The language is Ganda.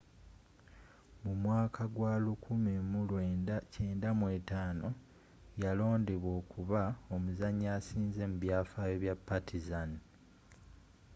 mu mwaka gwa 1995 yaloondebwa okuba omuzaanyi assinze mu byafaayo bya partizan